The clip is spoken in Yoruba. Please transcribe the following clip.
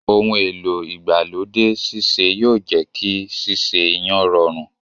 Ohun èlò igbalode sise yóò jẹ kí sese iyán rọrùn.